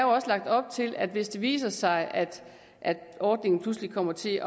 også lagt op til at hvis det viser sig at ordningen pludselig kommer til